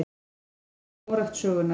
Mesta skógrækt sögunnar